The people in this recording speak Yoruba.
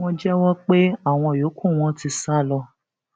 wọn jẹwọ pé àwọn yòókù wọn ti sá lọ